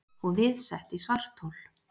Og við sett í svarthol.